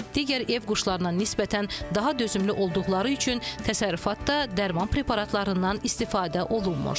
Digər ev quşlarına nisbətən daha dözümlü olduqları üçün təsərrüfatda dərman preparatlarından istifadə olunmur.